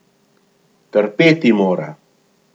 Trpeti mora!